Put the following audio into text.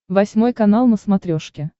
восьмой канал на смотрешке